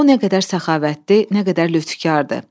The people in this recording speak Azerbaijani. O nə qədər səxavətli, nə qədər lütükardır.